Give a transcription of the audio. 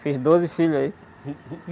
Fiz doze filhos aí